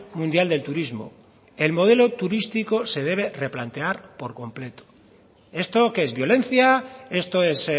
mundial del turismo el modelo turístico se debe replantear por completo esto qué es violencia esto es